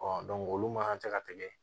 olu man tɛ ka tɛmɛ